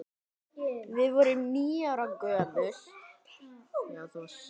Við vorum níu ára gömul.